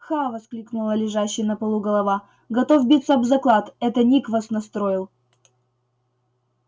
ха воскликнула лежащая на полу голова готов биться об заклад это ник вас настроил